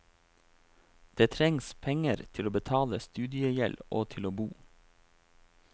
Det trengs penger til å betale studiegjeld og til å bo.